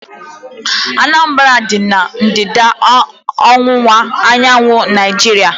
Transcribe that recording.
Anambra dị na ndịda-ọwụwa anyanwụ Naijiria